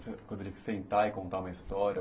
Sentar e contar uma história?